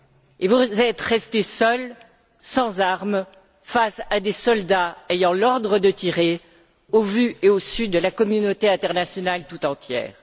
Et vous êtes restés seuls, sans armes, face à des soldats ayant l'ordre de tirer, au vu et au su de la communauté internationale tout entière.